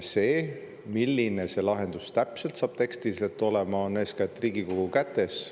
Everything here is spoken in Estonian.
See, milline see lahendus täpselt saab tekstiliselt olema, on eeskätt Riigikogu kätes.